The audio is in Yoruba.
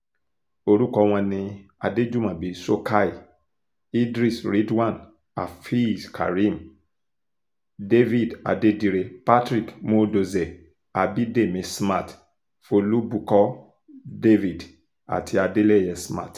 orúkọ wọn ni adéjúmobi shokhaie idris ridwan afeezkareem david adedire patrick muodozie abidemi smart folubukkọ david àti adeleye smart